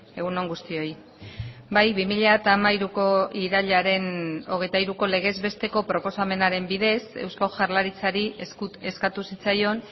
egun on guztioi bai bi mila hamairuko irailaren hogeita hiruko legez besteko proposamenaren bidez eusko jaurlaritzari eskatu zitzaion